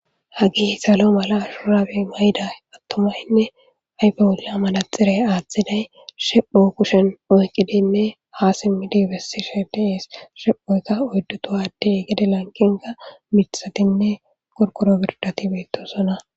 hagi salo mala ashuraabi mayda attumaynne ayfe wula malaxirey aaththiday shepho kushen oykidinne ha simmidibessi shedes shephoyta oydduto adde gede lankinga mithatinne qorkoro birdati beettosona